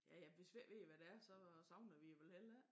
Hvis vi ikke ved hvad det er så savner vi det vel heller ikke